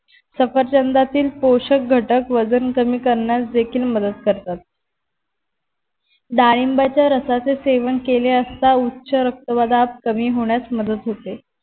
सफरचंदातील पोशक घटक वजन कमी करण्यास देखील मदत करतात. डाळिंबाच्या रसाचे सेवन केले असता उच्च रक्तदाब कमी होण्यास मदत होते